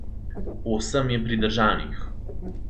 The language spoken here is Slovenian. Osem je pridržanih.